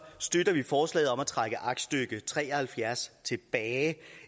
støtter vi forslaget om at trække aktstykke tre og halvfjerds tilbage